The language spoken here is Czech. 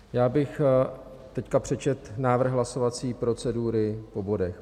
Já bych teď přečetl návrh hlasovací procedury po bodech.